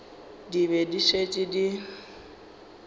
di be di šetše di